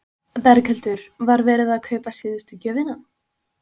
Berghildur: Var verið að kaupa síðustu gjöfina?